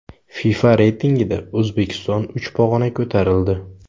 FIFA reytingida O‘zbekiston uch pog‘ona ko‘tarildi.